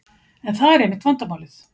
En það er einmitt vandamálið.